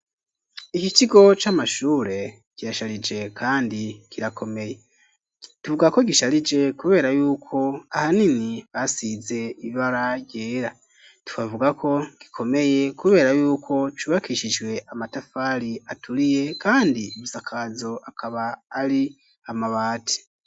Iki kigo c'amashure kirasharije kandi kirakomeye. Tuvuga ko gisharije kubera yuko ahanini basize ibara ryera. Tukavuga ko gikomeye kubera yuko cubakishijwe amatafari aturiye kandi ibisakazo akaba ari amabati.